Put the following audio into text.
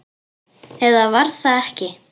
Eða var það ekki?